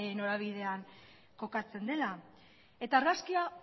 norabidean kokatzen dela eta argazkia